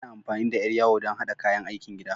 Ana amfani da yar yawo don haɗa kayan aikin gida.